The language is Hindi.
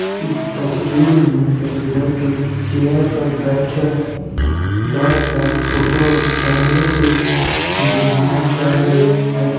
इस तस्वीर में एक लड़की चेयर पर बैठे बैठे कर फोटो कैमरा से खीचना चहा रही है। --